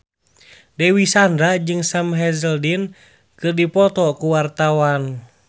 Dewi Sandra jeung Sam Hazeldine keur dipoto ku wartawan